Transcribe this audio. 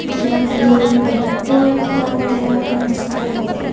ಇದು ಒಂದು petrol bunk ತರ ಕಣ್ಸ್ತಾ ಇದೆ .